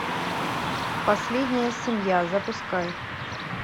последняя семья запускай